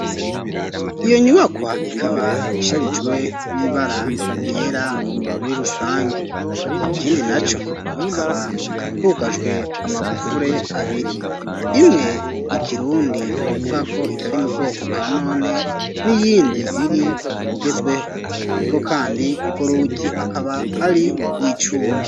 Iyo nyubakwa ikaba isherijwe n'ibara ryera muri rusangi, ikindi na co akaba hugajwe amagufure abiri ,imwe y'ikirundi tukavuga ko itari mu bwoko bwa none, n'iyindi iri mu bugezweho ariko kandi ugorugi akaba ari rwicuma.